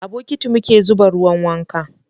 a bukiti muke zuba ruwan wanka.